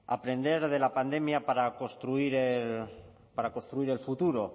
aprender de la pandemia para construir el futuro